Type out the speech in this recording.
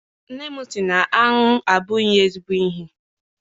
Nne m si na aṅụ abụghị ezigbo ihe.